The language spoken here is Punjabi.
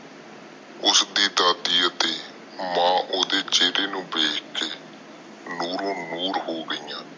ਉਸ ਦੀ ਦਾਦੀ ਅਤੇ ਮਾਂ ਓਹਦੇ ਚਹਿੱਰੇ ਨੂੰ ਵੇਖ ਕੇ ਨੂਰੋ ਨੂਰ ਹੋ ਗਿਆ।